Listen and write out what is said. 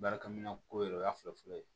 Baarakɛminɛn ko ye o y'a fɔlɔ fɔlɔ ye